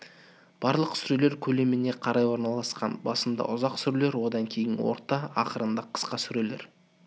барлық сүрелер көлеміне қарай орналасқан басында ұзақ сүрелер одан кейін орта ақырында қысқа сүрелер